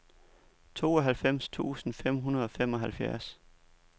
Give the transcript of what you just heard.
tooghalvfems tusind fem hundrede og femoghalvfjerds